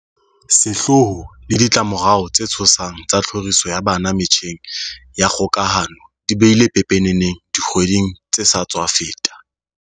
Sehloho le ditlamo rao tse tshosang tsa tlhoriso ya bana metjheng ya kgokahano di bile pepeneneng dikgwedi ng tse sa tswa feta.